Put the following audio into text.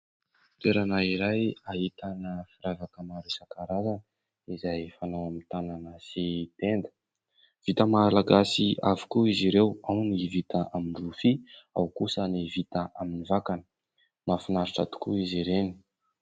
Toerana iray ahitana firavaka maro isan-karazany izay fanao amin'ny tanana sy tenda. Vita Malagasy avokoa izy ireo, ao ny vita amin'ny rofia, ao kosa ny vita amin'ny vakana. Mahafinaritra tokoa izy ireny.